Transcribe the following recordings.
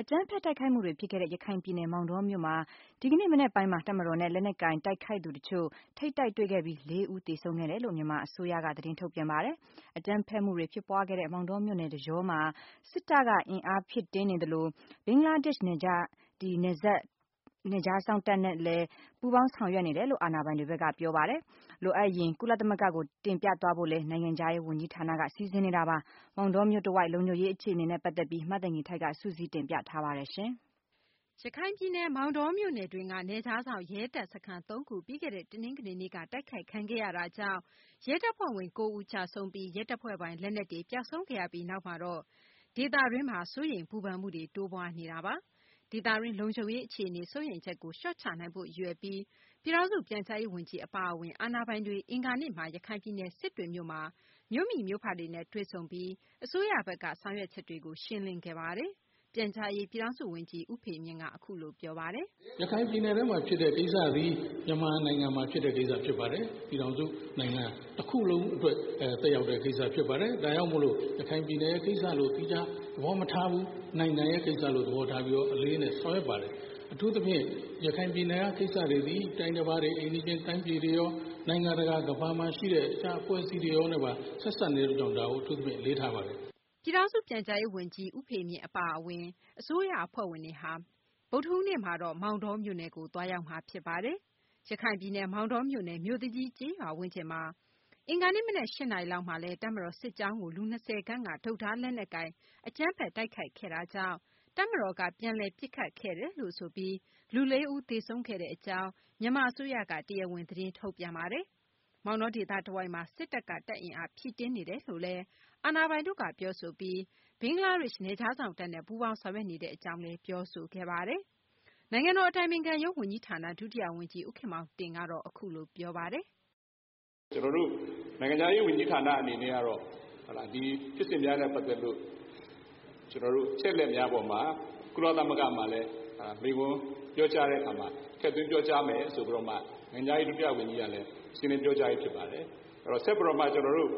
အကြမ်းဖက် တိုက်ခိုက်မှုတွေ ဖြစ်ခဲ့တဲ့ ရခိုင်ပြည်နယ် မောင်တောမြို့မှာ ဒီကနေ့ မနက်ပိုင်းမှာ တပ်မတော်နဲ့ လက်နက်ကိုင် တိုက်ခိုက်သူ တချို့ ထိပ်တိုက်တွေ့ခဲ့ပြီး ၄ ဦးသေဆုံးခဲ့တယ်လို့ မြန်မာ အစိုးရက သတင်းထုတ်ပြန်ပါတယ်။ အကြမ်းဖက်မှုတွေ ဖြစ်ပွားခဲ့တဲ့ မောင်တောမြို့နယ်တကြောမှာ စစ်တပ်က အင်အားဖြည့်တင်းနေသလို ဘင်္ဂလားဒေရှ့် နယ်ခြားစောင့်တပ်နဲ့လည်း ပူးပေါင်းဆောင်ရွက်နေတယ်လို့ အာဏာပိုင်တို့က ပြောပါတယ်။ လိုအပ်ရင် ကုလသမဂ္ဂကို တင်ပြသွားဖို့လည်း နိုင်ငံခြားရေး ဝန်ကြီးဌာနက စီစဉ်နေတာပါ။ မောင်တောမြို့တဝိုက် လုံခြုံရေး အခြေအနေနဲ့ ပတ်သက်ပြီး မသိင်္ဂ ီထိုက် စုစည်းတင်ပြထားပါတယ်။ ရခိုင်ပြည်နယ် မောင်တောမြို့နယ်တွင်းက နယ်ခြားစောင့်ရဲ တပ်စခန်း ၃ ခု ပြီးခဲ့တဲ့ တနင်္ဂနွေနေ့က တိုက်ခိုက်ခံရတာကြောင့် ရဲတပ်ဖွဲ့ဝင် ၉ ဦး ကျဆုံးပြီး ရဲတပ်ဖွဲ့ပိုင် လက်နက်တွေ ပျောက်ဆုံးခဲ့ရပြီး နောက်မှာတော့ ဒေသတွင်းမှာ စိုးရိမ်ပူပန်မှုတွေ တိုးပွားနေတာပါ။ ဒေသတွင်း လုံခြုံရေး အခြေအနေ စိုးရိမ်ချက်ကို လျှော့ချနိုင်ဖို့ ရည်ရွယ်ပြီး ပြည်ထောင်စု ပြန်ကြားရေး ဝန်ကြီး အပါအဝင် အာဏာပိုင်တွေ အင်္ဂါနေ့မှာ ရခိုင်ပြည်နယ် စစ်တွေမြို့မှာ မြို့မိမြို့ဖတွေနဲ့ တွေ့ဆုံပြီး အစိုးရဘက်က ဆောင်ရွက်ချက်တွေကို ရှင်းလင်းခဲ့ပါတယ်။ ပြန်ကြားရေး ပြည်ထောင်စု ဝန်ကြီး ဦးဖေမြင့်က အခုလို ပြောပါတယ်။ “ရခိုင်ပြည်နယ်အတွင်းမှာဖြစ်တဲ့ ကိစ္စတွေသည် မြန်မာနိုင်ငံမှာဖြစ်တဲ့ ကိစ္စဖြစ်ပါတယ်။ ပြည်ထောင်စုနိုင်ငံတခုလုံးအတွက် သက်ရောက်တဲ့ ကိစ္စဖြစ်ပါတယ်။ ဒါကြောင့်မို့လို့ ရခိုင်ပြည်နယ်ရဲ့ကိစ္စလို့ သီးခြားသဘောမထားဘဲ နိုင်ငံရဲ့ကိစ္စလို့ အလေးအနက်ဆောင်ရွက်ပါတယ်။ အထုူးသဖြင့် ရခိုင်ပြည်နယ်က ကိစ္စတွေသည် အိမ်နီးချင်းတိုင်းပြည်တွေရော ၊ နိုင်ငံတကာ ကမ္ဘာမှာရှိတဲ့ အဖွဲ့အစည်းတွေအားလုံးနဲ့ပါ ဆက်စပ်နေတဲ့အတွက်ကြောင့် ဒါကိုအလေးထားပါတယ်။” ရခိုင်ပြည်နယ် မောင်တောမြို့နယ် မြို့သူကြီးကျေးရွာဝန်းကျင်မှာ အင်္ဂါနေ့ မနက် ၈ နာရီလောက်မှာ တပ်မတော် စစ်ကြောင်းကို လူ ၂၀ ခန့်က တုတ်၊ ဓား ၊ လက်နက်ကိုင် အကြမ်းဖက် တိုက်ခိုက်ခဲ့တဲ့ အတွက် တပ်မတော်က ပြန်လည် ပစ်ခတ်ခဲ့ပြီး လူ ၄ ဦး သေဆုံးခဲ့တယ်လို့ မြန်မာ အစိုးရက တရားဝင် သတင်းထုတ်ပြန်ပါတယ်။ မောင်တော ဒေသတဝိုက်မှာ စစ်တပ်က တပ်အင်အား ဖြည့်တင်းနေတယ်လို့လည်း အာဏာပိုင်တို့က ပြောဆိုပြီး ဘင်္ဂလားဒေရှ့် နယ်ခြားစောင့်တပ်နဲ့ ပူးပေါင်းဆောင်ရွက်နေတဲ့ အကြောင်းလည်း ပြောဆိုခဲ့ပါတယ်။ နိုင်ငံတော် အတိုင်ပင်ခံရုံး ဝန်ကြီးဌာန ဒုတိယ ဝန်ကြီး ဦးခင်မောင်တင်ကတော့ အခုလို ပြောပါတယ်။ “ ကျနော်တို့ နိုင်ငံခြားရေးဝန်ကြီးဌာနအနေနဲ့ ဒီဖြစ်စဉ်များနဲ့ ပတ်သက်ပြီးတော့ ကျနော်တို့ အချက်အလက်များပေါ်မှာ ကုလသမဂ္ဂမှာလည်း မိန့်ခွန်းပြောကြားတဲ့အခါမှာ ထည့်သွင်းပြောကြားမယ်ဆိုပြီးတော့မှ နိုင်ငံခြားရေး ဒုဝန်ကြီးကလည်း ရှင်းလင်းပြောကြားပြီးဖြစ်ပါတယ်။ ဆက်ပြီးတော့မှ ကျနော်တို့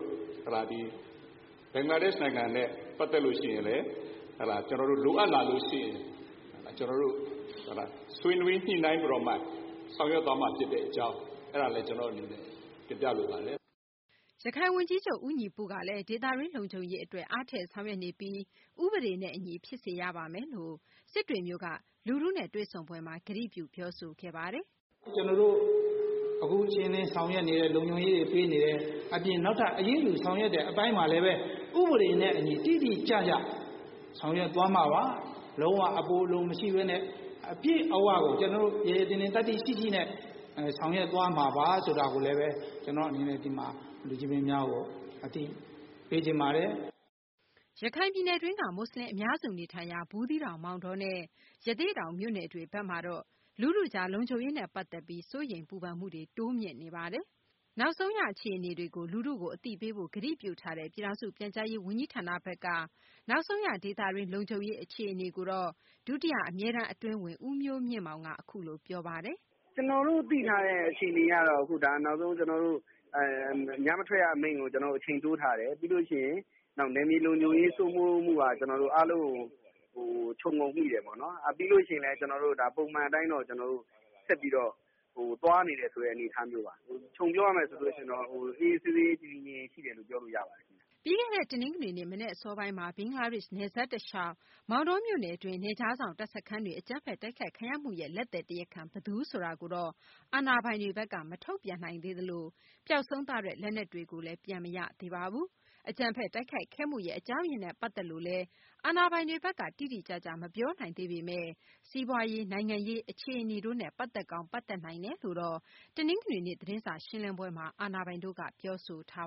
ဘင်္ဂလားဒေ့ရှ်နိုင်ငံနဲ့ ပတ်သက်လို့ လိုအပ်လာရင်လည်း ကျနော်တို့ ဆွေးနွေးညှိနှိုင်းပြီးတော့မှ ဆောင်ရွက်သွားမှာဖြစ်တဲ့အကြောင်းကျနော့်အနေနဲ့တင်ပြလိုပါတယ်။” ရခိုင်ဝန်ကြီးချုပ် ဦးညီပုကလည်း ဒေသတွင်း လုံခြုံရေး အတွက် အားထည့် ဆောင်ရွက်နေပြီး ဥပဒေနဲ့ အညီ ဖြစ်စေရပါမယ်လို့ စစ်တွေမြို့က လူထုနဲ့ တွေ့ဆုံပွဲမှာ ကတိပြု ပြောဆိုခဲ့တာပါ။ “ကျနော်တို့ အခုအခြေအနေလုံခြုံရေးတွေဆောင်ရွက်နေတယ်၊ ဒါ့အပြင်နောက်ထပ် အရေးယူဆောင်ရွက်တဲ့အပိုင်းမှာလည်း ဥပဒေနဲ့ အညီ တိတိကျကျဆောင်ရွက်သွားမှာပါ။ လုံးဝအပိုအလိုမရှိပဲနဲ့ အပြည့်အဝကို ကျနော်တို့ ရဲရဲတင်းတင်း သတ္တိရှိရှိနဲ့ ဆောင်ရွက်သွားမှာပါဆိုတာကိုလည်း ဒီမှာ လူကြီးမင်းများကို အသိပေးချင်ပါတယ်။” ရခိုင်ပြည်နယ်တွင်းက မူဆလင် အများစု နေထိုင်ရာ ဘူးသီးတောင်၊ မောင်တောနဲ့ ရသေ့တောင် မြို့နယ်တွေ ဘက်မှာတော့ လူထုကြား လုံခြုံရေးနဲ့ ပတ်သက်ပြီး စိုးရိမ်ပူပန်မှုတွေ မြင့်တက်နေတာပါ။ အခုနောက်ဆုံးရ အခြေအနေတွေကို လူထုကို အသိပေးဖို့ ကတိပြုထားတဲ့ ပြည်ထောင်စု ပြန်ကြားရေး ဝန်ကြီးဌာနဘက်က နောက်ဆုံးရ ဒေသတွင်း လုံခြုံရေး အခြေအနေကိုတော့ ဒုတိယ အမြဲတမ်း အတွင်းဝန် ဦးမျိုးမြင့်မောင်က အခုလို ပြောပါတယ်။ “ကျနော်တို့သိထားတဲ့အခြေအနေကတော့ ဒါနောက်ဆုံး ကျနော်တို့ ညမထွက်ရအမိန့်ကို ကျနော်တို့ အချိန်တိုးထားတယ် ပြီးရင် နယ်မြေလုံခြုံရေးစိုးမိုးမှုအားလုံးကို ခြုံငုံမိတယ်ပေါ့နော်။ ပြီးလို့ရှိရင်တော့ ပုံမှန်အတိုင်းတော့ဒါ ဆက်ပြီးတော့ သွားနေတယ်ဆိုတဲ့ အနေအထားမျိုးပါ။ ခြုံပြောရရင်တော့ အေးအေးဆေးဆေး တည်တည်ငြိမ်ငြိမ်ရှိတယ်လို့ ပြောလို့ရပါတယ်ခင်ဗျ။” ပြီးခဲ့တဲ့ တနင်္ဂနွေနေ့ မနက်အစောပိုင်းမှာ ဘင်္ဂလားဒေရှ့် နယ်စပ် တလျှောက် မောင်တောမြို့နယ်တွင်း နယ်ခြားစောင့် တပ်စခန်းတွေ အကြမ်းဖက် တိုက်ခိုက်ခံရမှုရဲ့ လက်သည် တရားခံ ဘယ်သူဆိုတာကိုတော့ အာဏာပိုင်တွေဘက်က မထုတ်ပြန်နိုင်သေးသလို ပျောက်ဆုံးသွားတဲ့ လက်နက်တွေလည်း ပြန် မတွေ့သေးပါဘူး။ အကြမ်းဖက် တိုက်ခိုက်ခဲ့မှုရဲ့ အကြောင်းရင်းနဲ့ ပတ်သက်လို့လည်း တိတိကျကျ အာဏာပိုင်တွေဘက်က မပြောနိုင်သေးပေမယ့် စီးပွားရေး၊ နိုင်ငံရေး အခြေအနေတို့နဲ့ ပတ်သက်ကောင်း ပတ်သက်နိုင်တယ်လို့တော့ အာဏာပိုင်တို့က တနင်္ဂနွေနေ့ သတင်းစာ ရှင်းလင်းပွဲမှာ ပြောဆိုထား